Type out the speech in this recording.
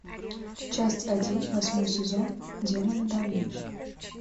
часть один восьмой сезон демоны да винчи